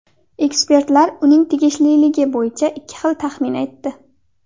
Ekspertlar uning tegishliligi bo‘yicha ikki xil taxmin aytdi.